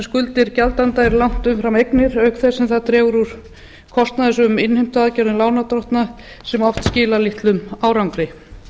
skuldir gjaldanda eru langt umfram eignir auk þess sem það dregur úr kostnaðarsömum innheimtuaðgerðum lánardrottna sem oft skilar litlum árangri